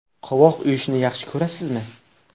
Qovoq uyushni yaxshi ko‘rasizmi?